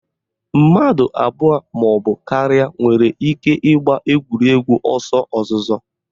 Mmadụ abụọ maọbụ karịa nwere ike ịgba egwuregwu ọsọ ozuzo